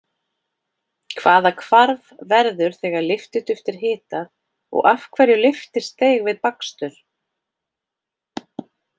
Hvaða hvarf verður þegar lyftiduft er hitað og af hverju lyftist deig við bakstur?